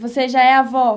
Você já é avó?